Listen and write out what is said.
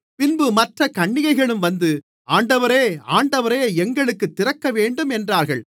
பின்பு மற்றக் கன்னிகைகளும் வந்து ஆண்டவரே ஆண்டவரே எங்களுக்குத் திறக்கவேண்டும் என்றார்கள்